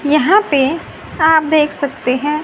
यहां पे आप देख सकते है।